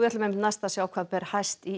sjá hvað ber hæst í